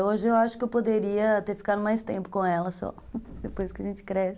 Hoje eu acho que eu poderia ter ficado mais tempo com ela só, depois que a gente cresce.